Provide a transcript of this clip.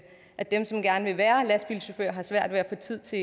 at dem som gerne vil være lastbilchauffører har svært ved at få tid til